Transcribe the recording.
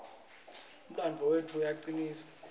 umlandvo wetfu uyasicinisa